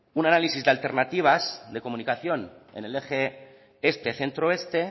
un análisis de alternativas de comunicación en el eje este centro oeste